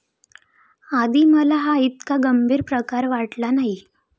आधी मला हा ईतका गंभीर प्रकार वाटला नाही.